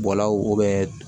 Bɔlaw